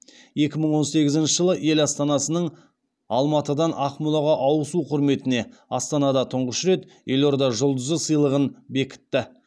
екі мың он сегізінші жылы ел астанасының алматыдан ақмолаға ауысу құрметіне астанада тұңғыш рет елорда жұлдызы сыйлығын бекітті